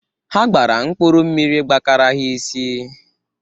Ha gbara mkpụrụ mmiri gbakara ha isi.